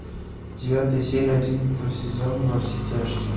девятая серия одиннадцатого сезона во все тяжкие